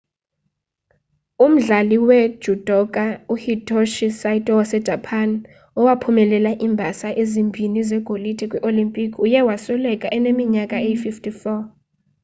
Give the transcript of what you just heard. umdlali wejudoka uhitoshi saito wasejapan owaphumelela iimbasa ezimbini zegolide kwii-olimpiki uye wasweleka eneminyaka eyi-54